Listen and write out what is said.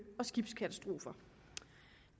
og skibskatastrofer